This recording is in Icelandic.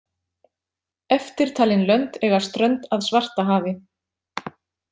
Eftirtalin lönd eiga strönd að Svartahafi.